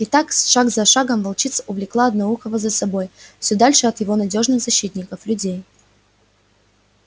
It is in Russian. и так шаг за шагом волчица увлекала одноухого за собой всё дальше от его надёжных защитников людей